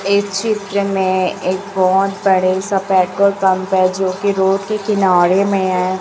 इस चित्र में एक बहुत बड़े सा पेट्रोल पंप हैं जो कि रोड के किनारे में है।